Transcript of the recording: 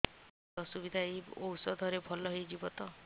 ଏଇ ଅସୁବିଧା ଏଇ ଔଷଧ ରେ ଭଲ ହେଇଯିବ ତ